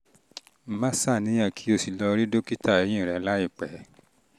má ṣàníyàn kí o sì lọ rí dókítà eyín rẹ láìpẹ́